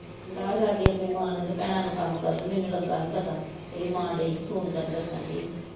ਢਾਹ ਛੱਡਦੀ ਆਪਣੀ ਮਾਂ ਨੂੰ ਤੇ ਭੈਣਾਂ ਨੂੰ ਕੰਮ ਕਰਨ ਮੈਨੂੰ ਲੱਗਾ ਹੀ ਪਤਾ ਇਹਦੀ ਮਾਂ ਦਈ ਹੀ ਫੋਨ ਕਰਨ ਦੱਸਣ ਦੀ ਹੀ।